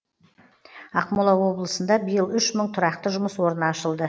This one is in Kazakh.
ақмола облысында биыл үш мың тұрақты жұмыс орны ашылды